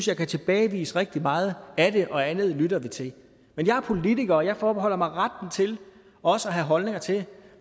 jeg kan tilbagevise rigtig meget af det og andet lytter vi til men jeg er politiker og jeg forbeholder mig retten til også at have holdninger til